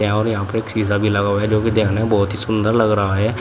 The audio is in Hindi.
और यहां पे एक शीशा भी लगा हुआ है जो कि देखने में बहुत ही सुंदर लग रहा है।